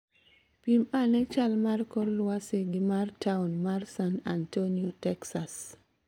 Pim ane chal mar kor lwasi gi mar taon mar San Antonio, Texas